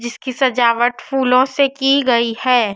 इसकी सजावट फूलों से की गई हैं।